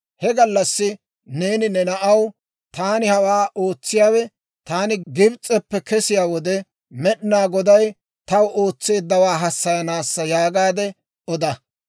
«He gallassi neeni ne na'aw, ‹Taani hawaa ootsiyaawe, taani Gibs'eppe kesiyaa wode, Med'inaa Goday taw ootseeddawaa hassayanaassa› yaagaade oda.